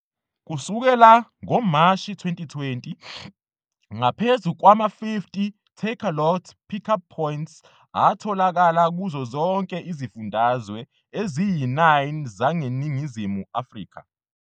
Kusukela ngoMashi 2020, ngaphezu kwama-50 Takealot Pickup Points atholakala kuzo zonke izifundazwe eziyi-9 zaseNingizimu Afrika.